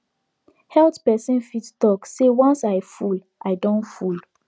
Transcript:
health person fit talk say once i full i don full